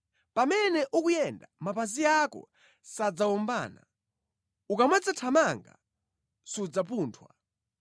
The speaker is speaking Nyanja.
Pamene ukuyenda, mapazi ako sadzawombana; ukamadzathamanga, sudzapunthwa.